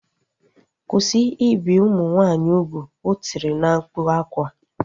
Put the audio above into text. Kwụsị ibi ụmụ nwaanyị ugwu! O tiri na mkpu akwa